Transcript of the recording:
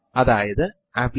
അപ്പോൾ എന്താണ് ഒരു ഫയൽ160